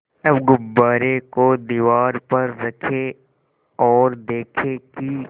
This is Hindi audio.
अब गुब्बारे को दीवार पर रखें ओर देखें कि